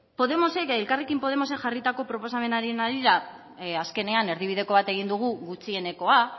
podemosek elkarrekin podemosek jarritako proposamenaren harira azkenean erdibideko bat egin dugu gutxienekoa